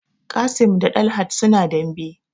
Qassim da Dalhat suna dambe